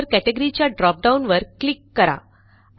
नंतर कॅटेगरी च्या dropdownवर क्लिक करा